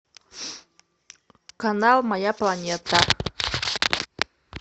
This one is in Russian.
канал моя планета